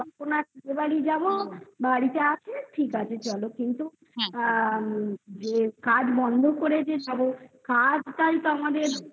বাড়ি যাবো বাড়িতে আছে ঠিক আছে চলো কিন্তু হুম আ যে কাজ বন্ধ করে যে কাজটাই তো আমাদের